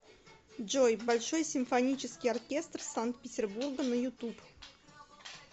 джой большой симфонический оркестр санкт петербурга на ютуб